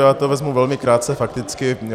Já to vezmu velmi krátce fakticky.